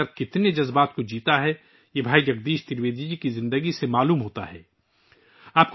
لیکن وہ اپنے اندر کس قدر حساسیت رکھتا ہے، یہ بھائی جگدیش ترویدی جی کی زندگی پتا چلتا ہے